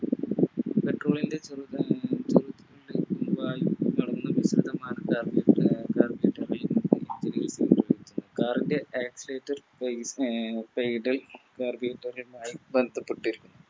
Car ൻറെ Accelerator